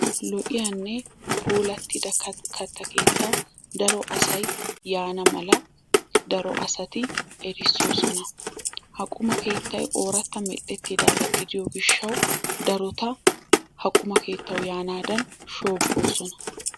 Lo"iyanne puulatida katta keettaa daro asay yaana mala daro asati erissosona. Ha qumma keettay oorata meedhdhetidaaga gidiyo gishshaw darota ha quma keettaw yaanadan shoobbosona.